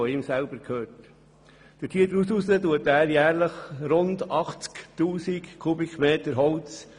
Daraus entnimmt er jährlich ungefähr 80 000 m Holz.